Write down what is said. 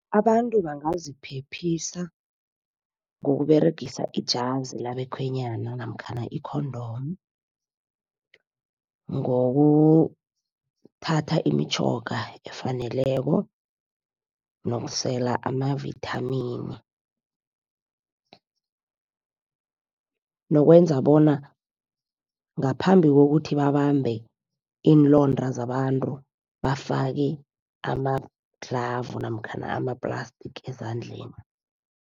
Abantu bangaziphephisa ngokUberegisa ijazi labekhwenyana namkhana i-condom. Ngokuthatha imitjhoga efaneleko nokusela amavithamini. Nokwenza bona ngaphambi kokuthi babambe iinlonda zabantu, bafake amadlhavu namkhana ama-plastic ezandleni.